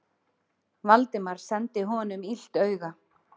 Valdimar sendi honum illt auga.